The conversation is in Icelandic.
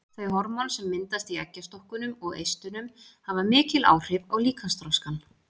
Þau hormón sem myndast í eggjastokkunum og eistunum hafa mikil áhrif á líkamsþroskann.